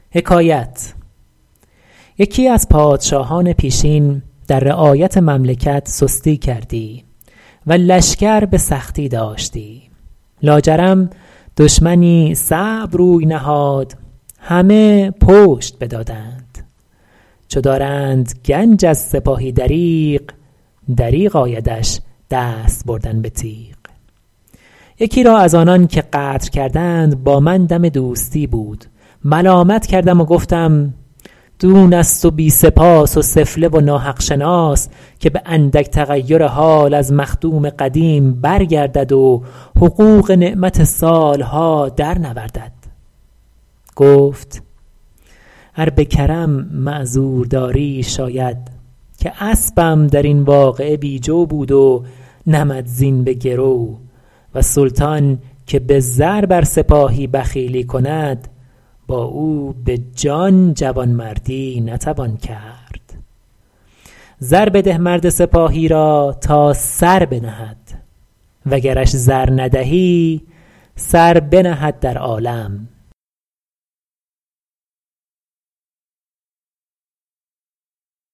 یکی از پادشاهان پیشین در رعایت مملکت سستی کردی و لشکر به سختی داشتی لاجرم دشمنی صعب روی نهاد همه پشت بدادند چو دارند گنج از سپاهی دریغ دریغ آیدش دست بردن به تیغ یکی را از آنان که غدر کردند با من دم دوستی بود ملامت کردم و گفتم دون است و بی سپاس و سفله و ناحق شناس که به اندک تغیر حال از مخدوم قدیم برگردد و حقوق نعمت سال ها در نوردد گفت ار به کرم معذور داری شاید که اسبم در این واقعه بی جو بود و نمدزین به گرو و سلطان که به زر بر سپاهی بخیلی کند با او به جان جوانمردی نتوان کرد زر بده مرد سپاهی را تا سر بنهد و گرش زر ندهی سر بنهد در عالم اذا شبع الکمی یصول بطشا و خاوی البطن یبطش بالفرار